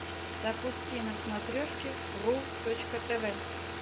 запусти на смотрешке ру точка тв